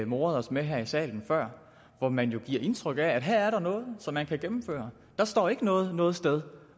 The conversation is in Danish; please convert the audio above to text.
moret os med her i salen hvor man jo giver indtryk af at her er der noget som man kan gennemføre der står ikke noget om noget sted